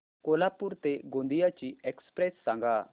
कोल्हापूर ते गोंदिया ची एक्स्प्रेस सांगा